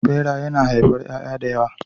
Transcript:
Ɓera yana haifar ƴaƴa da yawa.